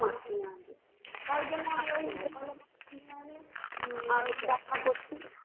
কিনে আনো তারজন্য আমি ওই